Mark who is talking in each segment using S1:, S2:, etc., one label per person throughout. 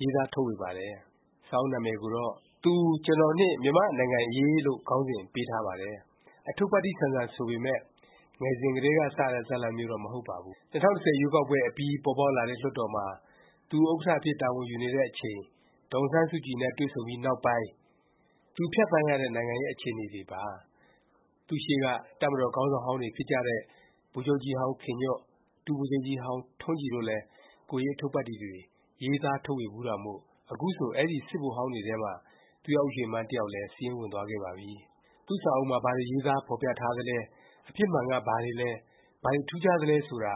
S1: ရေးသားထုတ်ဝေပါတယ်။ စာအုပ်နာမည်ကိုတော့ “သူ၊ ကျွန်တော်နှင့် မြန်မာနိုင်ငံ့အရေး” လို့ ခေါင်းစဉ်ပေးထားပါတယ်။ အထုပ္ပတ္တိ ဆန်ဆန်ဆိုပေမယ့် ငယ်စဉ်ကတည်းက စတဲ့ ဇာတ်လမ်းမျိုးတော့ မဟုတ်ပါဘူး။ ၂၀၁၀ ရွေးကောက်ပွဲအပြီး ပေါ်ပေါက်လာတဲ့ လွှတ်တော်မှာ သူ ဥက္ကဌ အဖြစ် တာဝန်ယူနေတဲ့အချိန် ဒေါ်အောင်ဆန်းစုကြည်နဲ့ တွေ့ဆုံပြီး နောက်ပိုင်းကာလ သူဖြတ်သန်းရတဲ့ နိုင်ငံရေး အခြေအနေပါ။ သူ့ရှေ့က တပ်မတော် ခေါင်းဆောင်ဟောင်းတွေ ဖြစ်ကြတဲ့ ဗိုလ်ချုပ်ကြီးဟောင်းခင်ညွန့်၊ ဒုဗိုလ်ချုပ်ကြီးဟောင်း ထွန်းကြည်တို့လည်း ကိုယ်ရေး အထုပ္ပတ္တိ တွေ ရေးသား ထုတ်ဝေဖူးတာမို့ အခုဆို အဲဒီ စစ်ဗိုလ်ဟောင်းတွေထဲ သူရဦးရွှေမန်း တစ်ယောက်လည်း စာရင်းဝင်သွားခဲ့ပါပြီ။ သူ့စာအုပ်မှာ ဘာတွေ ရေးသားဖော်ပြထားသလဲ၊ အဖြစ်မှန်က ဘာတွေလဲ၊ ဘာတွေ ထူးခြားသလဲ ဆိုတာ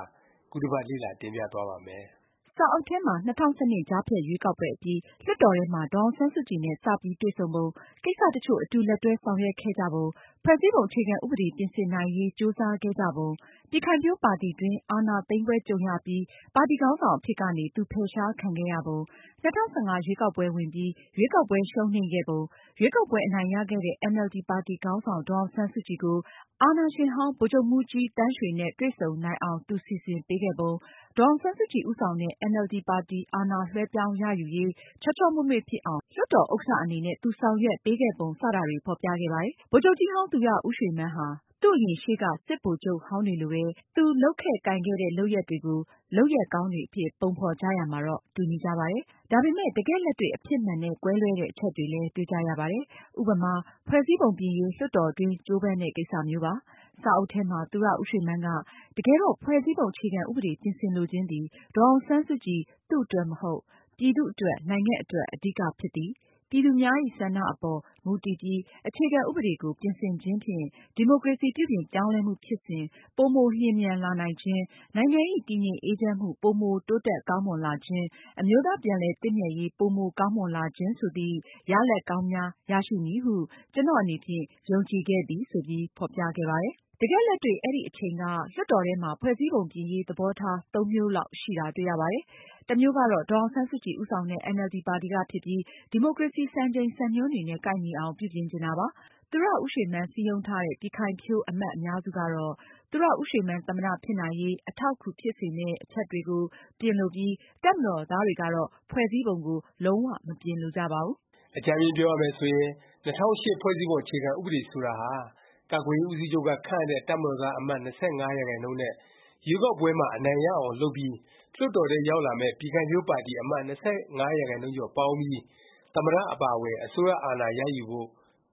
S1: ခုတစ်ပတ် လေ့လာ တင်ပြသွားပါ့မယ်။
S2: စာအုပ်ထဲမှာ ၂၀၁၂ ကြားဖြတ်ရွေးကောက်ပွဲအပြီး လွှတ်တော်ထဲမှာ ဒေါ်အောင်ဆန်းစုကြည်နဲ့ စပြီး တွေ့ဆုံပုံ၊ ကိစ္စ တစ်ချို့ အတူလက်တွဲ ဆောင်ရွက်ခဲ့ကြပုံ၊ ဖွဲ့စည်းပုံ အခြေခံ ဥပဒေ ပြင်ဆင်နိုင်ရေး ကြိုးစားခဲ့ကြပုံ၊ ပြည်ခိုင်ဖြိုးပါတီတွင်း အာဏာသိမ်းပွဲ ကြုံရပြီး ပါတီခေါင်းဆောင် အဖြစ်ကနေ သူ ဖယ်ရှားခံခဲ့ရပုံ၊ ၂၀၁၅ ရွေးကောက်ပွဲ ဝင်ပြီး ရွေးကောက်ပွဲ ရှုံးနိမ့်ခဲ့ပုံ၊ ရွေးကောက်ပွဲ အနိုင်ရခဲ့တဲ့ အင်န်အယ်လ်ဒီ ပါတီခေါင်းဆောင် ဒေါ်အောင်ဆန်းစုကြည်ကို အာဏာရှင်ဟောင်း ဗိုလ်ချုပ်မှူးကြီးသန်းရွှေနဲ့ တွေ့ဆုံနိုင်အောင် သူ စီစဉ်ပေးခဲ့ပုံ၊ ဒေါ်အောင်ဆန်းစုကြည် ဦးဆောင်တဲ့ အင်န်အယ်လ်ဒီ ပါတီ အာဏာလွဲှပြောင်းရယူရေး ချောချောမွေ့မွေ့ဖြစ်အောင် လွှတ်တော် ဥက္ကဌ အနေနဲ့ သူဆောင်ရွက်ပေးခဲ့ပုံ စတာတွေ ဖော်ပြခဲ့ပါတယ်။ ဗိုလ်ချုပ်ကြီးဟောင်း သူရရွှေမန်းဟာ သူ့အရင် ရှေ့က စစ်ဗိုလ်ချုပ်ဟောင်းတွေလိုပဲ သူ လုပ်ခဲ့ကိုင်ခဲ့တဲ့ လုပ်ရပ်တွေကို လုပ်ရပ်ကောင်းတွေ အဖြစ် ပုံဖော်ကြရာမှာတော့ တူညီကြပါတယ်။ ဒါပေမယ့် တကယ့် လက်တွေ့ အဖြစ်မှန်နဲ့ ကွဲလွဲတဲ့ အချက်တွေလည်း တွေ့ကြရပါတယ်။ ဥပမာ ဖွဲ့စည်းပုံပြင်ရေး လွှတ်တော်တွင်း ကြိုးပမ်းတဲ့ ကိစ္စမျိုးပါ။ စာအုပ်ထဲမှာ သူရဦးရွှေမန်းက “တကယ်တော့ ဖွဲ့စည်းပုံ အခြေခံ ဥပဒေ ပြင်ဆင်လိုခြင်းသည် ဒေါ်အောင်ဆန်းစုကြည် (သူ့) အတွက် မဟုတ်။ ပြည်သူအတွက် နိုင်ငံအတွက် အဓိက ဖြစ်သည်။ ပြည်သူများဇ။် ဆန္ဒအပေါ် မူတည်ပြီး အခြေခံ ဥပဒေကို ပြင်ဆင်ခြင်းဖြင့် ဒီမိုကရေစီ ပြုပြင်ပြောင်းလဲမှု ဖြစ်စဉ် ပိုမိုလျင်မြန်လာနိုင်ခြင်း၊ နိုင်ငံဇ။် တည်ငြိမ်အေးချမ်းမှု ပိုမိုတိုးတက်ကောင်းမွန်လာခြင်း၊ အမျိုးသားပြန်လည် သင့်မြတ်ရေး ပိုမိုကောင်းမွန်လာခြင်း ဆိုသည့် ရလာဒ်ကောင်းများ ရရှိမည်ဟု ကျနော့် အနေဖြင့် ယုံကြည်ခဲ့သည်” ဆိုပြီး ဖော်ပြခဲ့ပါတယ်။ တကယ်လက်တွေ့ အဲဒီအချိန်က လွှတ်တော်ထဲမှာ ဖွဲ့စည်းပုံ ပြင်ရေး သဘောထား သုံးမျိုးလောက် ရှိတာတွေ့ရပါတယ်။ တစ်မျိုးကတော့ ဒေါ်အောင်ဆန်းစုကြည် ဦးဆောင်တဲ့ အင်န်အယ်လ်ဒီ ပါတီက ဖြစ်ပြီး ဒီမိုကရေစီ စံချိန်စံညွှန်းတွေနဲ့ ကိုက်ညီအောင် ပြုပြင်ချင်တာပါ။ သူရဦးရွှေမန်း စည်းရုံးထားတဲ့ ပြည်ခိုင်ဖြိုး အမတ် အများစုကတော့ သူရဦးရွှေမန်း သမ္မတ ဖြစ်နိုင်ရေး အထောက်အကူ ဖြစ်စေမယ့် အချက်တွေကို ပြင်လိုပြီး တပ်မတော်သားတွေကတော့ ဖွဲ့စည်းပုံကို လုံး၀ မပြင်လိုကြပါဘူး
S1: ။ အကြမ်းဖျဉ်း ပြောရမယ်ဆိုရင် ၂၀၀၈ ဖွဲ့စည်းပုံ အခြေခံ ဥပဒေ ဆိုတာဟာ ကာကွယ်ရေး ဦးစီးချုပ်က ခန့်အပ်တဲ့ တပ်မတော်သား အမတ် ၂၅ ရာခိုင်နှုန်းနဲ့ ရွေးကောက်ပွဲမှာ အနိုင်ရအောင် လုပ်ပြီး လွှတ်တော်ထဲ ရောက်လာမယ့် ပြည်ခိုင်ဖြိုးပါတီ အမတ် ၂၅ ရာခိုင်နှုန်းကျော် ပေါင်းပြီး သမ္မတ အပါအဝင် အစိုးရအာဏာရယူဖို့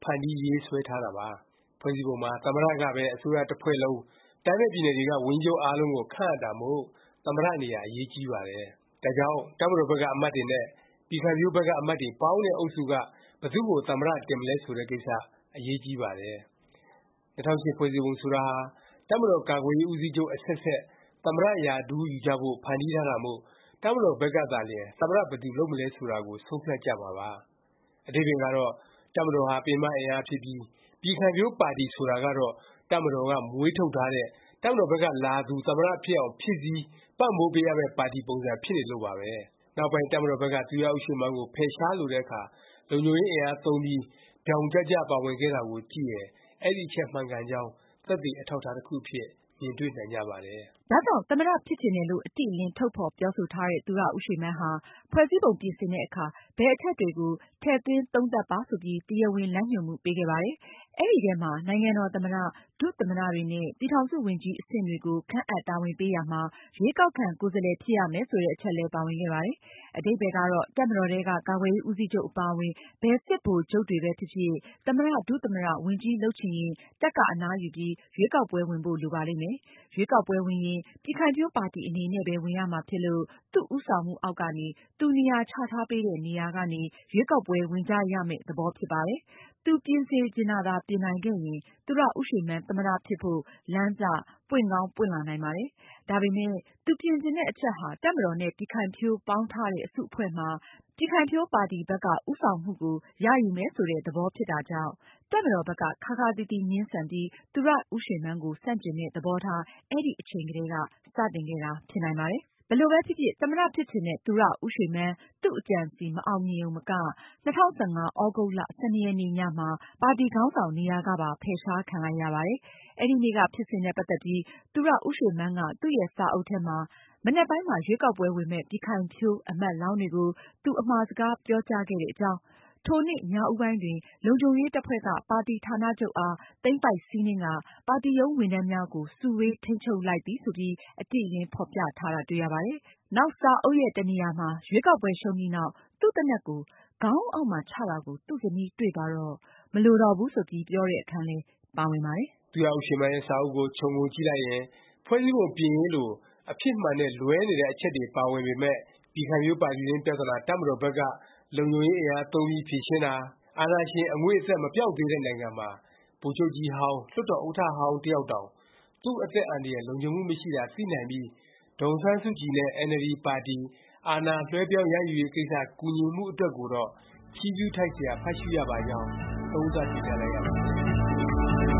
S1: ဖန်တီးရေးဆွဲထားတာပါ။ ဖွဲ့စည်းပုံမှာ သမ္မတကပဲ အစိုးရတစ်ဖွဲ့လုံး၊ တိုင်းနဲ့ပြည်နယ်တွေက ဝန်ကြီးချုပ် အားလုံးကို ခန့်အပ်တာမို့ သမ္မတ နေရာ အရေးကြီးပါတယ်။ ဒါကြောင့် တပ်မတော်ဘက်က အမတ်တွေနဲ့ ပြည်ခိုင်ဖြိုးဘက်က အမတ်တွေပေါင်းတဲ့ အုပ်စုက ဘယ်သူ့ကို သမ္မတ တင်မလဲ ဆိုတဲ့ ကိစ္စ အရေးကြီးပါတယ်။ ၂၀၀၈ ဖွဲ့စည်းပုံဆိုတာဟာ တပ်မတော်ကာကွယ်ရေး ဦးစီးချုပ် အဆက်ဆက် သမ္မတ ရာထူးယူကြဖို့ ဖန်တီးထားတာမို့ တပ်မတော်ဘက်ကသာလျင် သမ္မတ ဘယ်သူလုပ်မလဲ ဆိုတာကို ဆုံးဖြတ်ကြမှာပါ။ အဓိပ္ပါယ်ကတော့ တပ်မတော်ဟာ ပင်မ အင်အားဖြစ်ပြီး ပြည်ခိုင်ဖြိုးပါတီ ဆိုတာကတော့ တပ်မတော်က မွေးထုတ်ထားတဲ့ ၊ တပ်မတော်ဘက်ကလာသူ သမ္မတ ဖြစ်အောင် ဖြည့်ဆည်း၊ ပံ့ပိုးပေးရမယ့် ပါတီပုံစံ ဖြစ်နေလို့ပါပဲ။ နောက်ပိုင်း တပ်မတော်ဘက်က သူရဦးရွှေမန်းကို ဖယ်ရှားလိုတဲ့အခါ လုံခြုံရေးအင်အားသုံးပြီး ဗြောင်ကျကျ ပါဝင်ခဲ့တာကို ကြည့်ရင် အဲဒီအချက် မှန်ကန်ကြောင်း သက်သေ အထောက်အထား တစ်ခုအဖြစ် မြင်တွေ့နိုင်ကြပါတယ်
S2: ။ ဒါကြောင့် သမ္မတ ဖြစ်ချင်တယ်လို့ အတိအလင်း ထုတ်ဖော်ပြောဆိုထားတဲ့ သူရဦးရွှေမန်းဟာ ဖွဲ့စည်းပုံပြင်ဆင်တဲ့အခါ ဘယ်အချက်တွေကို ထည့်သွင်းသုံးသပ်ပါ ဆိုပြီး တရားဝင် လမ်းညွှန်မှု ပေးခဲ့ပါတယ်။ အဲဒီအထဲမှာ နိုင်ငံတော် သမ္မတ၊ ဒုသမ္မတတွေနဲ့ ပြည်ထောင်စုဝန်ကြီး အဆင့်တွေကို ခန့်အပ် တာဝန်ပေးရာမှာ ရွေးကောက်ခံ ကိုယ်စားလှယ် ဖြစ်ရမယ် ဆိုတဲ့ အချက်လည်း ပါဝင်ခဲ့ပါတယ်။ အဓိပ္ပါယ်ကတော့ တပ်မတော်ထဲက ကာကွယ်ရေး ဦးစီးချုပ် အပါအဝင် ဘယ်စစ်ဗိုလ်ချုပ်တွေဖြစ်ဖြစ် သမ္မတ၊ ဒုသမ္မတ၊ ဝန်ကြီးလုပ်ချင်ရင် တပ်က အနားယူပြီး ရွေးကောက်ပွဲ ဝင်ဖို့ လိုပါလိမ့်မယ်။ ရွေးကောက်ပွဲဝင်ရင် ပြည်ခိုင်ဖြိုးပါတီ အနေနဲ့ပဲ ဝင်ရမှာဖြစ်လို့ သူ့ဦးဆောင်မှုအောက်ကနေ၊ သူနေရာချထားပေးတဲ့ နေရာကနေ ရွေးကောက်ပွဲ ဝင်ကြရမယ့် သဘောဖြစ်ပါတယ်။ သူပြင်စေချင်တာသာ ပြင်နိုင်ခဲ့ရင် သူရဦးရွှေမန်း သမ္မတ ဖြစ်ဖို့ လမ်းစ ပွင့်ကောင်း ပွင့်လာနိုင်ပါတယ်။ ဒါပေမယ့် သူပြင်ချင်တဲ့ အချက်ဟာ တပ်မတော်နဲ့ ပြည်ခိုင်ဖြိုး ပေါင်းထားတဲ့ အစုအဖွဲ့မှာ ပြည်ခိုင်ဖြိုးပါတီဘက်က ဦးဆောင်မှုကို ရယူမယ် ဆိုတဲ့ သဘောဖြစ်တာကြောင့် တပ်မတော်ဘက်က ခါးခါးသီးသီး ငြင်းဆန်ပြီး သူရဦးရွှေမန်းကို ဆန့်ကျင်တဲ့ သဘောထား အဲဒီအချိန်ကတည်းက စတင်ခဲ့တာ ဖြစ်နိုင်ပါတယ်။ ဘယ်လိုပဲဖြစ်ဖြစ် သမ္မတ ဖြစ်ချင်တဲ့ သူရဦးရွှေမန်း သူ့အကြံအစည် မအောင်မြင်ရုံမက ၂၀၁၅ သြဂုတ်လ ၁၂ ရက်နေ့ ညမှာ ပါတီခေါင်းဆောင် နေရာကပါ ဖယ်ရှားခံလိုက်ရပါတယ်။ အဲဒီနေ့က ဖြစ်စဉ်နဲ့ ပတ်သက်ပြီး သူရဦးရွှေမန်းက သူ့ရဲ့ စာအုပ်ထဲမှာ မနက်ပိုင်းမှာ ရွေးကောက်ပွဲ ဝင်မယ့် ပြည်ခိုင်ဖြိုးအမတ်လောင်းတွေကို သူ အမှာစကား ပြောကြားခဲ့တဲ့အကြောင်း၊ “ ထိုနေ့ ညဦးပိုင်းတွင် လုံခြုံရေးတပ်ဖွဲ့က ပါတီဌာနချုပ်အား သိမ်းပိုက်စီးနင်းကာ ပါတီရုံးဝန်ထမ်းများကို စုဝေး ထိန်းချုပ်လိုက်သည်” ဆိုပြီး အတိအလင်း ဖော်ပြထားတာ တွေ့ရပါတယ်။ နောက် စာအုပ်ရဲ့ တ နေရာမှာ ရွေးကောက်ပွဲရှုံးပြီးနောက် သူ့သေနတ်ကို ခေါင်းအုံးအောက်မှာ ချတာကို သူ့ဇနီးတွေ့သွားတော့ မလိုတော့ဘူး ဆိုပြီး ပြောတဲ့ အခန်းလည်း ပါဝင်ပါတယ်
S1: ။ သူရဦးရွှေမန်းရဲ့ စာအုပ်ကို ခြုံငုံကြည့်လိုက်ရင် ဖွဲ့စည်းပုံ ပြင်ရေးလို အဖြစ်မှန်နဲ့ လွဲနေတဲ့ အချက်တွေ ပါဝင်ပေမယ့် ပြည်ခိုင်ဖြိုးပါတီတွင်း ပြသနာ တပ်မတော်ဘက်က လုံခြုံရေးအင်အားသုံးပြီး ဖြေရှင်းတာ၊ အာဏာရှင် အငွေ့အသက် မပျောက်သေးတဲ့နိုင်ငံမှာ ဗိုလ်ချုပ်ကြီးဟောင်း၊ လွှတ်တော်ဥက္ကဌ တ ယောက်တောင် သူ့အသက်အန္တရာယ် လုံခြုံမှုမရှိတာ သိနိုင်ပြီး ဒေါ်အောင်ဆန်းစုကြည်နဲ့ အင်န်အယ်လ်ဒီ ပါတီ အာဏာလွဲှပြောင်း ရယူနိုင်ရေး ကိစ္စ ကူညီမှု အတွက်ကိုတော့ ချီးကျူးထိုက်စရာ ဖတ်ရှုရပါကြောင်း သုံးသပ် တင်ပြလိုက်ရပါတယ်